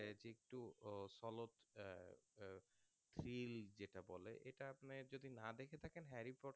thrill যেটা বলে এটা আপনি যদি না দেখে থাকেন harry potter